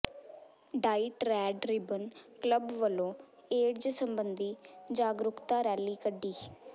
diet red ribbon club ਵਲੋਂ AIDS ਸਬੰਧੀ ਜਾਗਰੂਕਤਾ ਰੈਲੀ ਕੱਢੀ